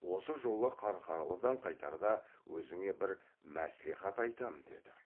осы жолы қарқаралыдан қайтарда өзіңе бір мәслихат айтам деді